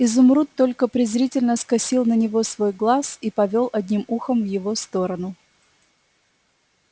изумруд только презрительно скосил на него свой глаз и повёл одним ухом в его сторону